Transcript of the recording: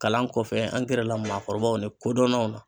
Kalan kɔfɛ an gɛrɛla maakɔrɔbaw ni kodɔnnaw na.